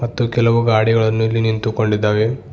ಮತ್ತು ಕೆಲವು ಗಾಡಿಗಳನ್ನು ಇಲ್ಲಿ ನಿಂತುಕೊಂಡಿದ್ದಾವೆ.